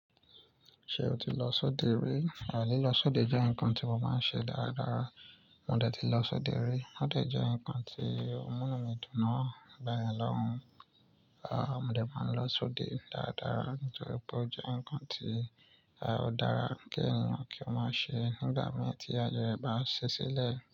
Ṣé o ti lọ sóde rí? Àìní lọ sóde jẹ́ ǹkan tí mo máa ń ṣe dáradára. Mo dé ti lọ sóde rí, ó dẹ̀ jẹ́ nǹkan tí ó múnú mi dùn náà nígbàyẹn lọ́hùún. Aà! Mo dé máa ń lọ sóde dáradára nítorí pé ó jẹ́ ǹkan tí ah ó dára kí èèyàn kí ó máa ṣe nígbà míìn tí ààyè ẹ̀ bá ń ṣí sílẹ̀.